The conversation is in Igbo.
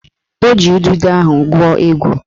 O ji udude ahụ gwuo egwu